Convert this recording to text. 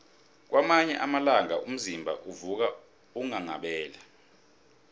kwamanye amalanga umzimba uvuka unghanghabele